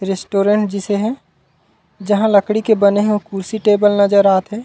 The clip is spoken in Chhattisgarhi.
रस्टॉरेंट जइसे हे जहाँ लकड़ी के बने हे कुर्सी टेबल नज़र आत हे।